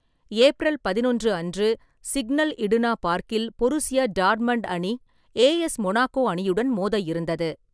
April பதினொன்று அன்று, Signal Iduna பார்க்கில் பொருசியா டார்மண்ட் அணி ஏஎஸ் மொனாக்கோ அணியுடன் மோத இருந்தது.